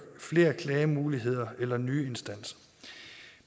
flere klagemuligheder eller nye instanser